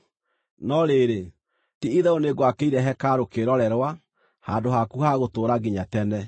no rĩrĩ, ti-itherũ nĩngwakĩire hekarũ kĩĩrorerwa, handũ haku ha gũtũũra nginya tene.”